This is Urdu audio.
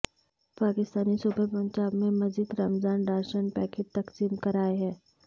پاکستانی صوبے پنجاب میں مزید رمضان راشن پیکٹ تقسیم کرائے ہیں